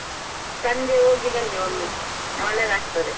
ಸಂಜೆ ಹೋಗಿ ಬನ್ನಿ ಒಳ್ಳೇದಾಗ್ತದೆ.